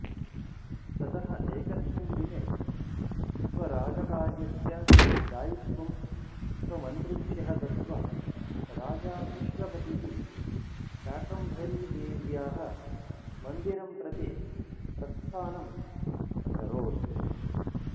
ततः एकस्मिन् दिने स्वराजकार्यस्य दायित्वं स्वमन्त्रिभ्यः दत्त्वा राजा विश्वपतिः शाकम्भरीदेव्याः मन्दिरं प्रति प्रस्थानम् अकरोत्